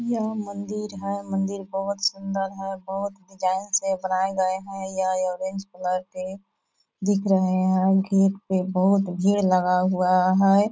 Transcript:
यह मंदिर है मंदिर बहुत सुंदर है बहुत डिजाइन से बनाये गये है यह ऑरेंज कलर के दिख रहे है गेट पे बहुत भीड़ लगा हुआ है।